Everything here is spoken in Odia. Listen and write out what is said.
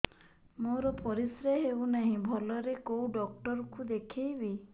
ମୋର ପରିଶ୍ରା ହଉନାହିଁ ଭଲରେ କୋଉ ଡକ୍ଟର କୁ ଦେଖେଇବି